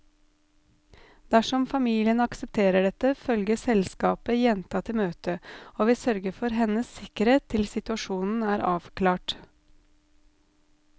Dersom familien aksepterer dette, følger selskapet jenta til møtet, og vi sørger for hennes sikkerhet til situasjonen er avklart.